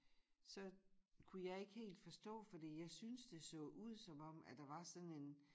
Så kunne jeg ikke helt forstå fordi jeg synes det så ud som om at der var sådan en